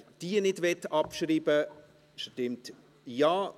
Wer diese nicht abschreiben möchte, stimmt Ja,